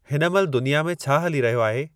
हिन महिल दुनिया में छा हली रहियो आहे